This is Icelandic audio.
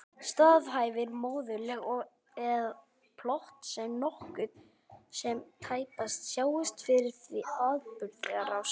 Staðhæfir móðurleg að plott sé nokkuð sem tæpast sjáist fyrir í atburðarás.